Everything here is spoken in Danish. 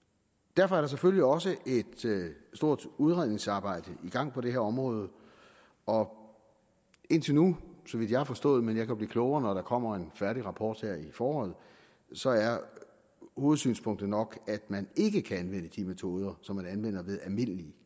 derfor er der selvfølgelig også et stort udredningsarbejde i gang på det her område og indtil nu så vidt jeg har forstået men jeg kan blive klogere når der kommer en færdig rapport her i foråret så er hovedsynspunktet nok at man ikke kan anvende de metoder som man anvender ved almindelige